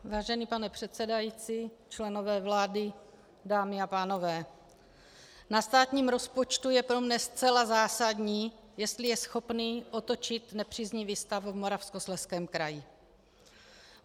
Vážený pane předsedající, členové vlády, dámy a pánové, na státním rozpočtu je pro mne zcela zásadní, jestli je schopný otočit nepříznivý stav v Moravskoslezském kraji.